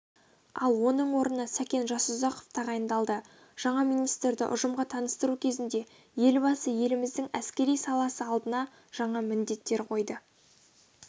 ал оның орнына сәкен жасұзақов тағайындалды жаңа министрді ұжымға таныстыру кезінде елбасы еліміздің әскери саласы алдына жаңа міндеттер қойды